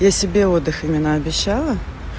я себе отдых именно обещала